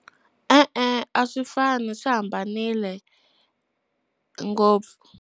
E-e, a swi fani swi hambanile ngopfu.